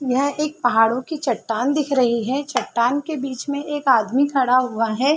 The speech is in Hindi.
यहां एक पहाड़ों की चट्टान दिख रही है चट्टान के बीच में एक आदमी खड़ा हुआ है।